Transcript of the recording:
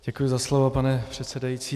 Děkuji za slovo, pane předsedající.